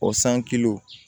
O san